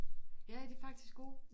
Ja de faktisk gode